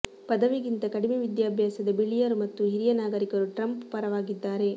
ಪದವಿಗಿಂತ ಕಡಿಮೆ ವಿದ್ಯಾಭ್ಯಾಸದ ಬಿಳಿಯರು ಮತ್ತು ಹಿರಿಯ ನಾಗರಿಕರು ಟ್ರಂಪ್ ಪರವಾಗಿದ್ದಾರೆ